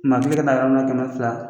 N n'a fili ka taa yɔrɔ minna kɛmɛ fila